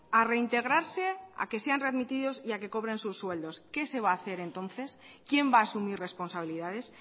a reintegrarse a que sean readmitidos y a que cobren sus sueldos qué se va a hacer entonces quién va a asumir responsabilidades